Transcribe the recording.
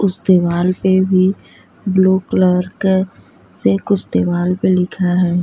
उस दीवाल पे भी ब्लू कलर का से कुछ दीवाल पे लिखा है।